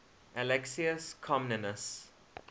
alexius comnenus